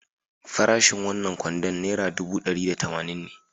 Farashin wannan kwandon naira ɗubu ɗari da tamanin ne.